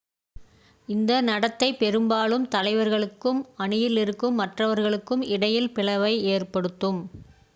இந்த நடத்தை பெரும்பாலும் தலைவர்களுக்கும் அணியில் இருக்கும் மற்றவர்களுக்கும் இடையில் பிளவை ஏற்படுத்தும்